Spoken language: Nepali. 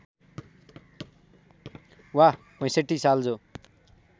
वा ६५ साल जो